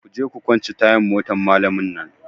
Kuje ku kwance tayan motan malamin nan!